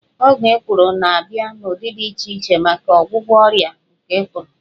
Ọgwụ ikpuru na-abịa n'ụdị dị iche iche maka ọgwụgwọ ọrịa nke ikpuru